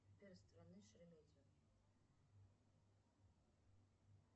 сбер страны шереметьево